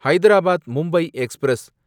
Hyderabad Mumbai express